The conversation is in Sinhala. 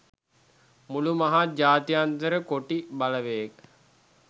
මුළු මහත් ජාත්‍යන්තර කොටි බලවේග